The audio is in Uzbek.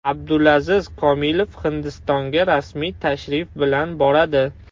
Abdulaziz Komilov Hindistonga rasmiy tashrif bilan boradi.